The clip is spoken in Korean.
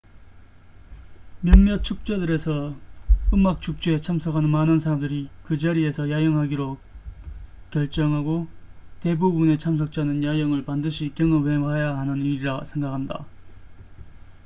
몇몇 축제들에서 음악 축제에 참석하는 많은 사람들이 그 자리에서 야영하기로 결정하고 대부분의 참석자는 야영을 반드시 경험해봐야 하는 일이라 생각한다